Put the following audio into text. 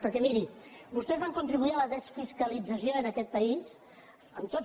perquè miri vostès van contribuir a la desfiscalització en aquest país amb tots